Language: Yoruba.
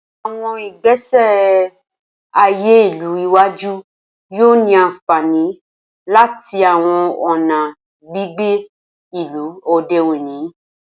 Awọn igbesi aye ilu iwaju yoo ni anfani lati awọn ọna gbigbe ilu ode oni.